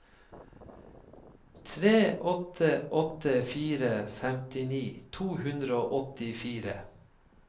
tre åtte åtte fire femtini to hundre og åttifire